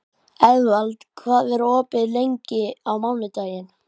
Eðvald, hvað er opið lengi á mánudaginn?